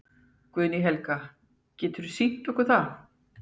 Guðný Helga: Geturðu sýnt okkur það?